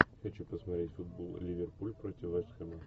хочу посмотреть футбол ливерпуль против вест хэма